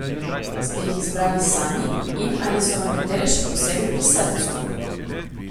Ste jih izbrali sami in ali so vam katere še posebej pri srcu?